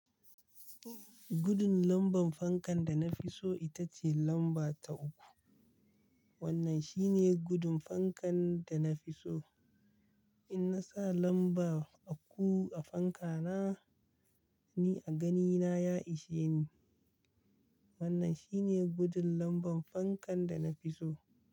Gudun lamban fankan da na fi so ita ce lamba ta uku. Wannan shi ne gudun fankan da na fi so. In na sa lamba uku a fanka na, ni a ganina ya ishe ni. Wannan shi ne gudun lamban fankan da na fi so.